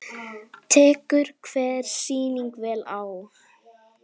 Tekur hver sýning vel á?